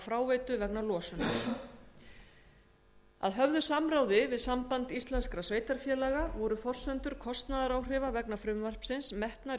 fráveitu vegna losunar að höfðu samráði við samband íslenskra sveitarfélaga voru forsendur kostnaðaráhrifa vegna frumvarpsins metnar í